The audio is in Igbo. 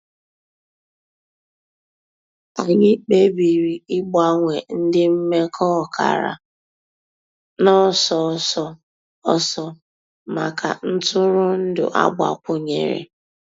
Ànyị̀ kpèbìrì ị̀gbanwe ńdí m̀mekọ̀ ọ̀kàrà n'ọ̀sọ̀ òsọ̀ òsọ̀ mǎká ntụrụ̀ndụ̀ àgbàkwùnyèrè.